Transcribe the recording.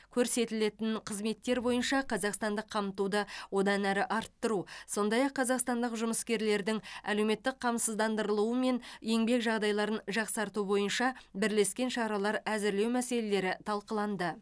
көрсетілетін қызметтер бойынша қазақстандық қамтуды одан әрі арттыру сондай ақ қазақстандық жұмыскерлердің әлеуметтік қамсыздандырылуы мен еңбек жағдайларын жақсарту бойынша бірлескен шаралар әзірлеу мәселелері талқыланды